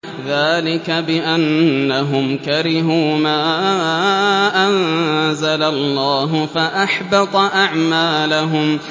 ذَٰلِكَ بِأَنَّهُمْ كَرِهُوا مَا أَنزَلَ اللَّهُ فَأَحْبَطَ أَعْمَالَهُمْ